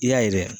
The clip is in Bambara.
I y'a ye